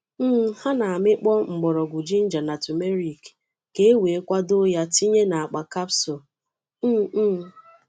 um Ha na-amịkpọ mgbọrọgwụ ginger na turmeric ka e wee kwadoo ya tinye n’akpa capsules. um um